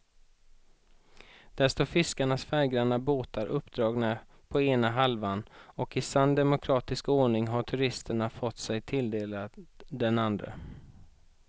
Där står fiskarnas färggranna båtar uppdragna på ena halvan och i sann demokratisk ordning har turisterna fått sig tilldelade den andra.